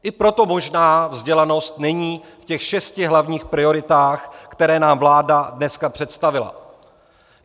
I proto možná vzdělanost není v těch šesti hlavních prioritách, které nám vláda dneska představila.